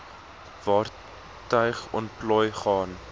vaartuig ontplooi gaan